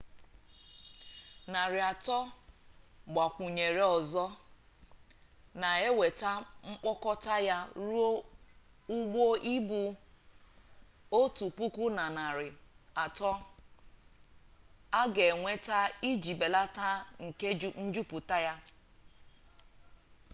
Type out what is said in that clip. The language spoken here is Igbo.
narị atọ a gbakwunyere ọzọ na-eweta mkpokọta ya ruo ụgbọ ibu otu puku na narị atọ a ga-enweta iji belata oke njupụta